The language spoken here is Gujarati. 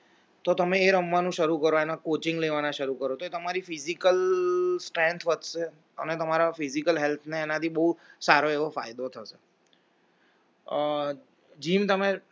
તો તમે એ રમવાનું શરૂ કરો એને coaching લેવાના શરૂ કરો તો તમારી physical strength વધશે અને તમારા physical health એનાથી બહુ સારો એવો ફાયદો જે તમેઅ gym તમે